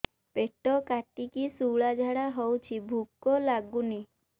ପେଟ କାଟିକି ଶୂଳା ଝାଡ଼ା ହଉଚି ଭୁକ ଲାଗୁନି